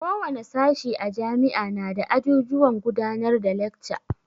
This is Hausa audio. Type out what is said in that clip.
Ko wane sashi a jami'a nada ajujuwan gudanar da lekca.